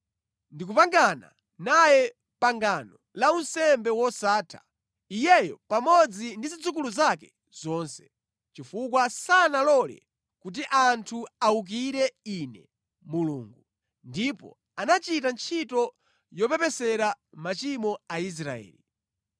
Ndikupangana naye pangano la unsembe wosatha, iyeyo pamodzi ndi zidzukulu zake zonse, chifukwa sanalole kuti anthu awukire Ine Mulungu, ndipo anachita ntchito yopepesera machimo Aisraeli.”